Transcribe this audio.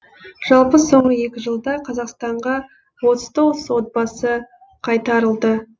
жалпы соңғы екі жылда қазақстанға отыз тоғыз отбасы қайтарылды